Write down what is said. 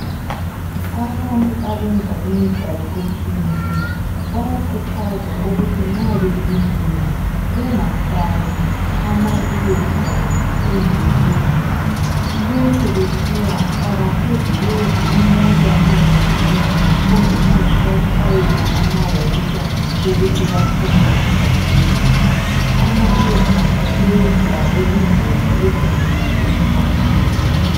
abantu abenza imidlalo etshiyeneyo bayakhuthazwa ukuthi nxa begijima bengafaki ama earphones endlebeni lokhu kuthiwa abasoze bezwe imota nxa ziduma kumbe nxa zibatshayela amawuta ukuthi baphume emgwaqweni ama earphones sedale ingozi ezinengi emgwaqweni